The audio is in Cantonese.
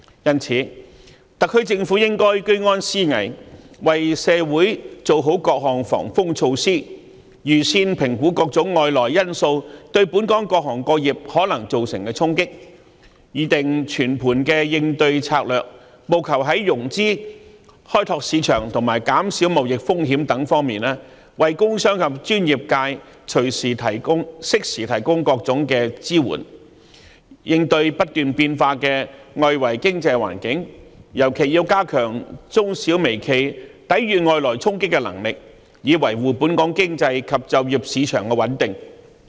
因此，特區政府應居安思危，為社會做好各項防風措施，預先評估各種外來因素對本港各行各業可能造成的衝擊，擬訂全盤應對策略，務求在融資、開拓市場及減少貿易風險等方面，為工商及專業界適時提供各種支援，應對不斷變化的外圍經濟環境，尤其要加強中小微企抵禦外來衝擊的能力，以維護本港經濟及就業市場的穩定。